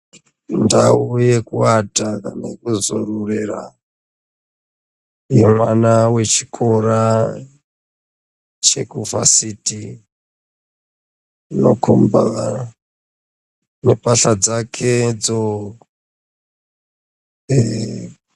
Ndau yekuata kana kwezuwa rurera yevana vechikora chekuvhasiti inokomba amupasha dzakedzo .